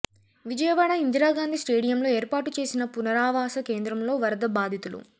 విజయవాడ ఇందిరాగాంధీ స్టేడియంలో ఏర్పాటు చేసిన పునరావాస కేంద్రంలో వరద బాధితులు